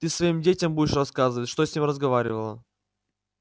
ты своим детям будешь рассказывать что с ним разговаривала